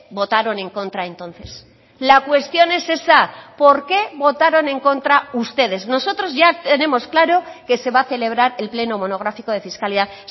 votaron en contra entonces la cuestión es esa por qué votaron en contra ustedes nosotros ya tenemos claro que se va a celebrar el pleno monográfico de fiscalidad